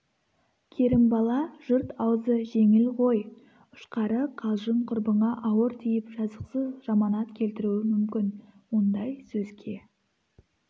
керімбала жұрт аузы жеңіл ғой ұшқары қалжың құрбыңа ауыр тиіп жазықсыз жаманат келтіруі мүмкін ондай сөзге